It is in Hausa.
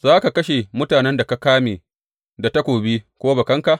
Za ka kashe mutanen da ka kame da takobi ko bakanka?